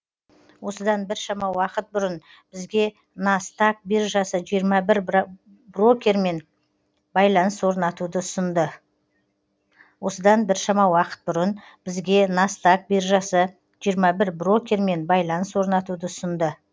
осыдан біршама уақыт бұрын бізге настаг биржасы жиырма бір брокермен байланыс орнатуды ұсынды